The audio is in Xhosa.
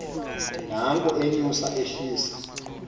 nanko enyusa ehlisa